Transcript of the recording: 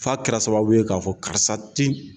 Fa kɛra sababu ye k'a fɔ karisa tɛ